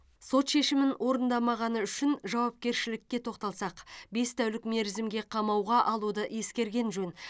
сот шешімін орындамағаны үшін жауапкершілікке тоқталсақ бес тәулік мерзімге қамауға алуды ескерген жөн